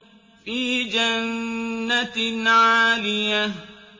فِي جَنَّةٍ عَالِيَةٍ